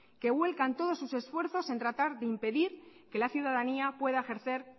que vuelcan todo sus esfuerzos en tratar de impedir que la ciudadanía pueda ejercer